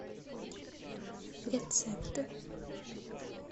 рецепты